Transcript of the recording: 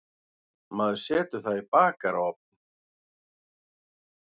Maður setur það í bakarofn.